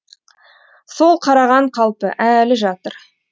сол қараған қалпы әлі жатыр